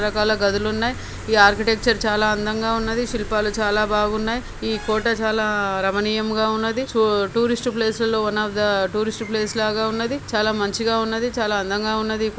రకరకాల గదులున్నాయి. ఈ ఆర్కిటెక్చర్ చాలా అందంగా ఉన్నది. శిల్పాలు చాలా బాగున్నాయి. ఈ కోట చాలా రమణీయంగా ఉన్నది. చు టూరిస్ట్ ప్లేస్ లలో one of the tourist place లాగా ఉన్నది. చాలా మంచిగా ఉన్నది. చాలా అందంగా ఉన్నది --ఇక